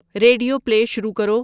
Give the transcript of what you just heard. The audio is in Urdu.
ریڈیو پلے شروع کرو